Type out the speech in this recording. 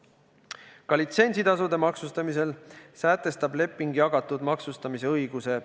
Ka litsentsitasude maksustamisel sätestab leping jagatud maksustamise õiguse.